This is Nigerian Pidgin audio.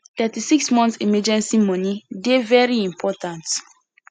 36 month emergency money dey very important